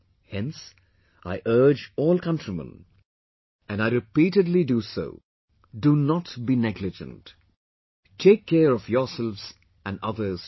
Hence, I urge all countrymen...and I repeatedly do so...do not be negligent...take care of yourselves and others too